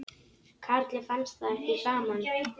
Karli fannst það ekki gaman.